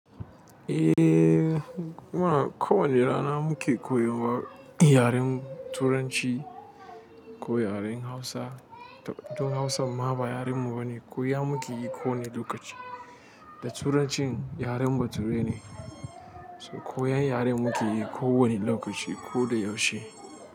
Eh ina, kowane rana muke koyarwa yaren turanci, ko yaren hausa toh toh hausan ma ba yaren mu bane. Koya muke yi kawai lokaci. Da Turancin yaren baturai ne, so koyan yaren muke yi kowani lokaci ko da yaushe.